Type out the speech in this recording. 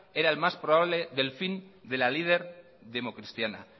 era el más probable delfín de la líder democristiana